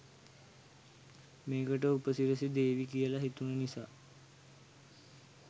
මේකට උපසිරැසි දේවි කියලා හිතුන නිසා